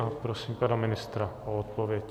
A prosím pana ministra o odpověď.